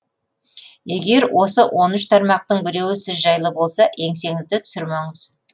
егер осы он үш тармақтың біреуі сіз жайлы болса еңсеңізді түсірмеңіз